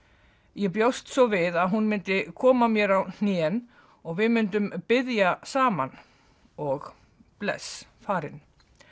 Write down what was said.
ég bjóst svo við að hún myndi koma mér á hnén og við myndum biðja saman og bless farin